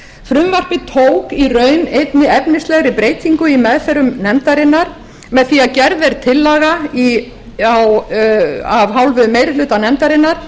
frumvarpið tók í raun einni efnislegri breytingu í meðförum nefndarinnar með því að gerð er tillaga af hálfu meiri hluta nefndarinnar